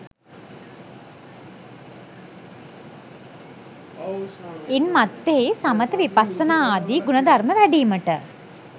ඉන් මත්තෙහි සමථ විපස්සනාදී ගුණධර්ම වැඩීමට